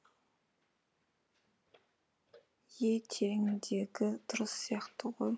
е тереңдегі дұрыс сияқты ғой